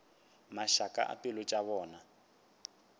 mašaka a pelo tša bona